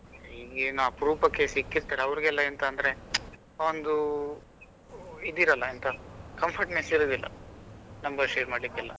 ಹೀಗೇನೂ ಅಪರೂಪಕ್ಕೆ ಸಿಕ್ಕಿರ್ತಾರೆ ಅವರಿಗೆಲ್ಲ ಎಂತಂದ್ರೆ ಒಂದು ಇದಿರಲ್ಲ ಎಂತ comfortness ಇರುದಿಲ್ಲ number share ಮಾಡ್ಲಿಕ್ಕೆಲ್ಲಾ.